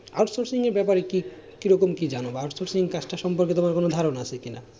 Outsourcing এর ব্যাপারে কি রকম কি জানো out sourcing কাজটা সম্পর্কে তোমার কোন ধারনা আছে কি না?